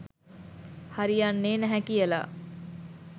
හරි යන්නේ නැහැ කියලා.